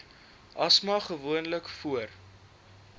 asma gewoonlik voor